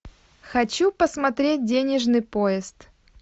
хочу посмотреть денежный поезд